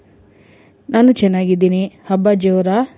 ನಾನು ಚೆನ್ನಾಗಿದ್ದೀನಿ ಹಬ್ಬ ಜೋರ?